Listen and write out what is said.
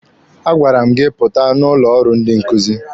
A gwara m gị pụta n'ụlọ ọrụ ndị nkuzi!